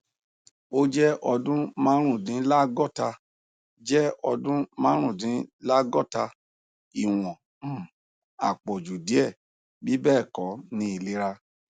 o jẹ ọdun marundinlagota jẹ ọdun marundinlagota iwọn um apọju diẹ bibẹẹkọ ni ilera